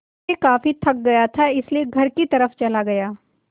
मैं काफ़ी थक गया था इसलिए घर की तरफ़ चला गया